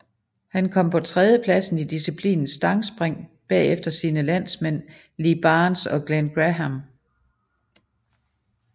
Han kom på en tredjeplads i disciplinen stangspring bagefter sine landsmænd Lee Barnes og Glen Graham